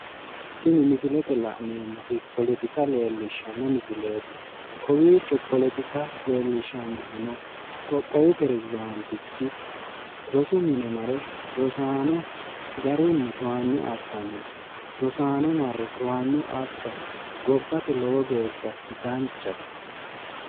Tini misile la'neemmoti poletika leellishshanno misileeti. Kowiicho poletika leellishshannohuno qoqqowu perezdaantichi rosu mine mare rosaano garunni towanyo assanno. Rosaano marre towanyo assa gobbate lowo geeshsha danchate.